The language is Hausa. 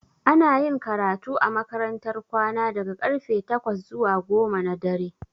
Ana yin karatu a makarantar kwana daga karfe takwas zuwa goma na dare